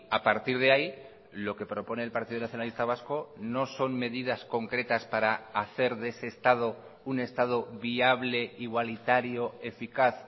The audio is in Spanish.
a partir de ahí lo que propone el partido nacionalista vasco no son medidas concretas para hacer de ese estado un estado viable igualitario eficaz